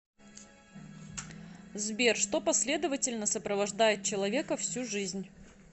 сбер что последовательно сопровождает человека всю жизнь